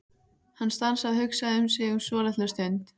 Hann stansaði og hugsaði sig um svolitla stund.